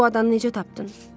Bu adamı necə tapdın?